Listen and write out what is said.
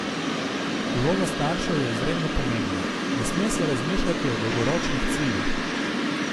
Vloga staršev je izredno pomembna: "Ne sme se razmišljati o dolgoročnih ciljih.